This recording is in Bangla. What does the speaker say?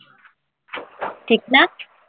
ঠিক না?